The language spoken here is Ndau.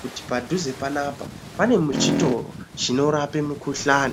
kuti padhuze panapanpane chitoro chinorape mikuhlani .